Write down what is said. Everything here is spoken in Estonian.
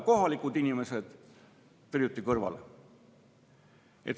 Kohalikud inimesed on kõrvale tõrjutud.